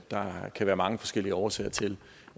der kan være mange forskellige årsager til